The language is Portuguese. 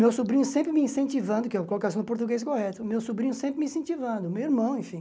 Meu sobrinho sempre me incentivando, que eu coloquei no português correto, meu sobrinho sempre me incentivando, meu irmão, enfim.